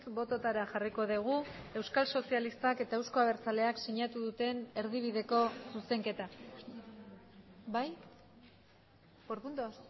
bototara jarriko dugu euskal sozialistak eta euzko abertzaleak sinatu duten erdibideko zuzenketa bai por puntos